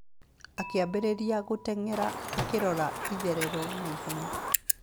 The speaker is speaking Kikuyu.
Akĩambĩrĩria gũtenyera alkĩrora itherero na ihenya.